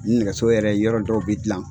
Ni nɛgɛso yɛrɛ yɔrɔ dɔw bɛ dilan